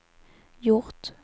gjort